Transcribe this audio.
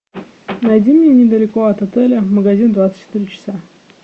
найди мне недалеко от отеля магазин двадцать четыре часа